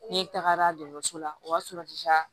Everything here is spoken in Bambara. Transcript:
Ne tagara dɔgɔtɔrɔso la o y'a sɔrɔ